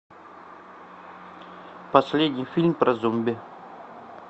последний фильм про зомби